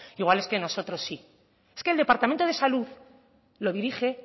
igual es que nosotros sí es que el departamento de salud lo dirige